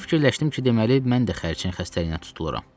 Belə fikirləşdim ki, deməli, mən də xərçəng xəstəliyinə tutuluram.